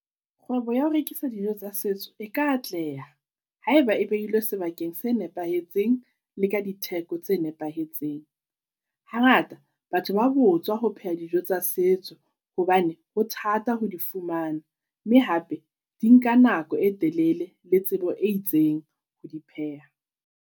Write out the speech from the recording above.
Kgwebo ya ho rekisa dijo tsa setso e ka atleha, haeba e beilwe sebakeng se nepahetseng le ka ditheko tse nepahetseng. Hangata batho ba botswa ho pheha dijo tsa setso hobane ho thata ho di fumana, mme hape di nka nako e telele le tsebo e itseng ho di pheha.